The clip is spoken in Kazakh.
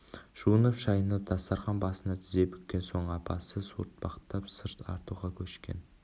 жуынып-шайынып дастархан басына тізе бүккен соң апасы суыртпақтап сыр тартуға көшкен